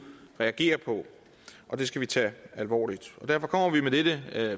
reagere på og det skal vi tage alvorligt derfor kommer vi med dette